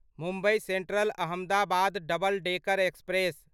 Mumbai Central Ahmedabad double decker express